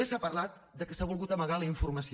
també s’ha parlat del fet que s’ha volgut amagar la informació